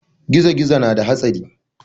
Gizo-gizo na da hatsari.